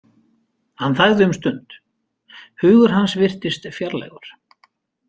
Hann þagði um stund, hugur hann virtist fjarlægur.